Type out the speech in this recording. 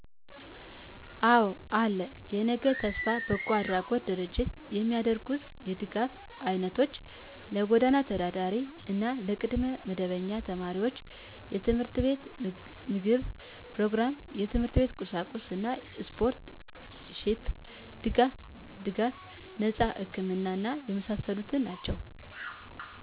አወ አለ *የነገ ተስፋ በጎ አድራጎት ድርጅት የሚያደርጉት የ ድጋፍ አይነቶች -ለጎዳና ተዳዳሪ እና ለቅድመ መደበኛ ተማሪወች የት/ት ምገባ ኘሮግራም -የት/ት ቁሳቁስ እና ስፖንሰር ሺፕ ድጋፍ ድጋፍ -ነጸ ህክምና እና የመሳሰሉት ናቸዉ